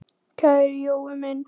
Kæri Jói minn.